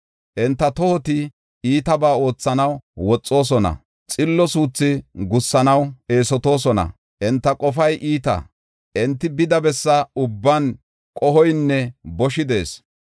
Enta tohoti iitabaa oothanaw woxoosona; xillo suuthi gussanaw eesotoosona. Enta qofay iita; enti bida bessa ubban qohoynne boshi de7ees.